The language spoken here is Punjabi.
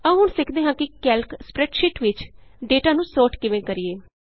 ਆਉ ਹੁਣ ਅਸੀਂ ਸਿੱਖਦੇ ਹਾਂ ਕੈਲਕ ਸਪਰੈੱਡਸ਼ੀਟ ਵਿਚ ਡੇਟਾ ਨੂੰ Sortਕਿਵੇਂ ਕਰੀਏ